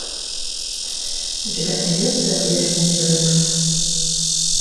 у тебя найдется верните рекса